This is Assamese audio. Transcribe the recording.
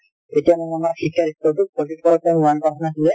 এতিয়া শিক্ষা percent আছিলে